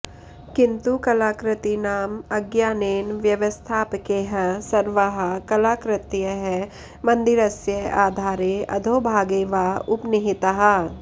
किन्तु कलाकृतीनाम् अज्ञानेन व्यवस्थापकैः सर्वाः कलाकृतयः मन्दिरस्य आधारे अधोभागे वा उपनिहिताः